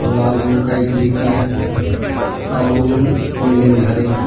अऊ बिल्डिंग घर इहा --